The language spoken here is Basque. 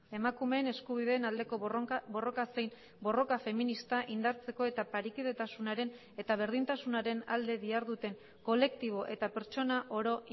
emakumeen eskubideen aldeko borroka zein borroka feminista indartzeko eta parekidetasunaren eta berdintasunaren alde diharduten kolektibo eta pertsona oro